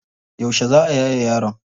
Yauce za a yaye yaron?